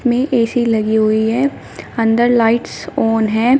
में ए_सी लगी हुई है अंदर लाइट्स ऑन है।